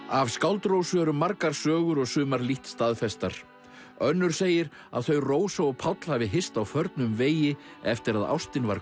af skáld Rósu eru margar sögur og sumar lítt staðfestar önnur segir að þau Rósa og Páll hafi hist á förnum vegi eftir að ástin var